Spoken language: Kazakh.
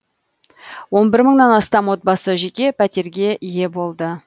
он бір мыңнан астам отбасы жеке пәтерге ие болды